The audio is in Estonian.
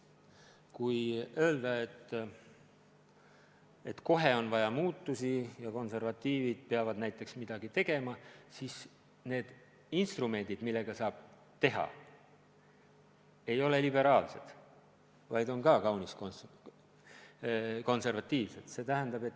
Kui öelda, et kohe on vaja muutusi ja konservatiivid peavad näiteks midagi tegema, siis need instrumendid, millega saab seda teha, ei ole liberaalsed, vaid on ka kaunis konservatiivsed.